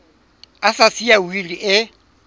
a sa siya wili e